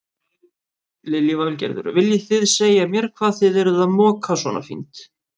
Lillý Valgerður: Viljið þið segja mér hvað þið eruð að moka svona fínt?